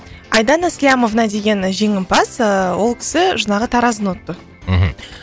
айдана слямовна деген жеңімпаз ыыы ол кісі жаңағы таразыны ұтты мхм